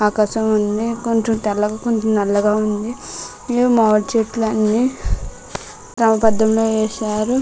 ఆకాశం ఉంది. కొంచెం తెల్లగా కొంచెం నల్లగా ఉంది. మామిడి చెట్లు అన్నీ క్రమ బద్దంగా వేశారు.